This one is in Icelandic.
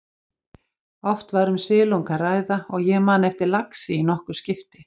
Oft var um silung að ræða og ég man eftir laxi í nokkur skipti.